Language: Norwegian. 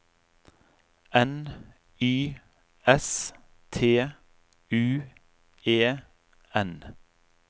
N Y S T U E N